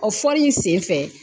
O fɔli in sen fɛ